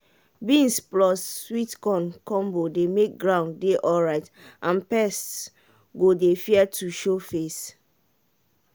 beans plus sweet corn combo dey make ground dey alright and pests go dey fear to show face.